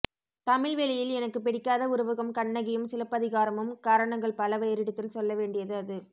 தமிழ் வெளியில் எனக்கு பிடிக்காத உருவகம் கண்ணகியும் சிலப்பதிகாரமும் காரணங்கள் பல வேறிடத்தில் சொல்லவேண்டியது அது